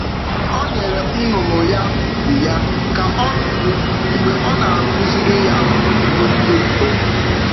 Ọ nyere nnụnụ ya ugwu ya ka ọ nọdụ mgbe ọ na-akụziri ya iwu ndị mbụ.